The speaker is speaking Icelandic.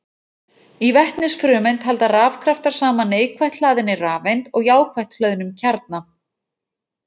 Í vetnisfrumeind halda rafkraftar saman neikvætt hlaðinni rafeind og jákvætt hlöðnum kjarna.